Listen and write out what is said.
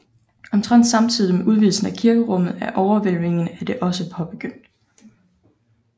Omtrent samtidig med udvidelsen af kirkerummet er overhvælvingen af det også påbegyndt